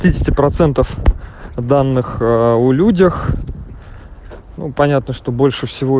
тридцать данных о людях ну понятно что больше